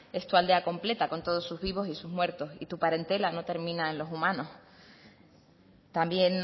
es tu aldea completa con todos sus vivos y sus muertos y tu parentela no termina en los humanos también